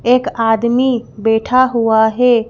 एक आदमी बैठा हुआ है।